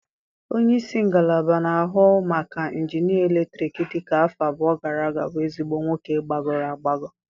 Onye isi ngalaba na-ahụ maka injinịa eletrik dị ka afọ abụọ gara aga bụ ezigbo nwoke gbagọrọ agbagọ.